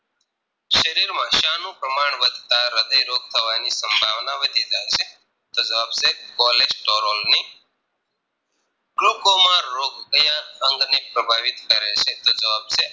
શરીરમાં શાનું પ્રમાણ વધતા હ્રદય રોગ થવાની સંભાવના વધી જાય છે તો જવાબ છે Cholesterol ની Glaucoma રોગ ક્યાં અંગને પ્રભાવિત કરે છે તો જવાબ છે